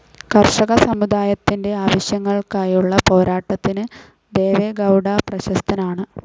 കർഷക സമുദായത്തിന്റെ ആവശ്യങ്ങൾക്കായുള്ള പോരാട്ടത്തിന് ദേവെഗൗഡ പ്രശസ്തനാണ്.